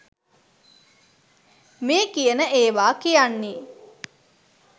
මේ කියන ඒවා කියන්නේ.